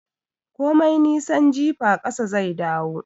Komai nisan jifa ƙasa zai dawo